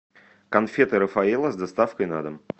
конфеты рафаэлло с доставкой на дом